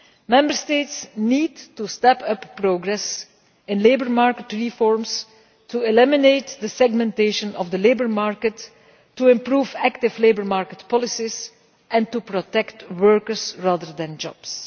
Member States need to step up progress in labour market reforms, eliminate the segmentation of the labour market, improve active labour market policies and protect workers rather than jobs.